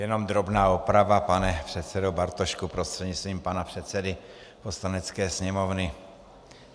Jenom drobná oprava, pane předsedo Bartošku prostřednictvím pana předsedy Poslanecké sněmovny.